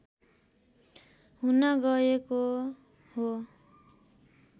हुन गएको हो